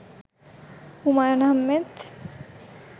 Humayun Ahmed